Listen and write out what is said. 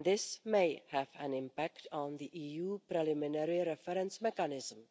This may have an impact on the EU preliminary reference mechanism.